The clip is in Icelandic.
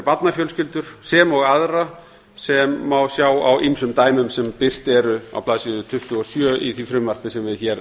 barnafjölskyldur sem og aðra sem má sjá á ýmsum dæmum sem birt eru á blaðsíðu tuttugu og sjö í því frumvarpi sem við hér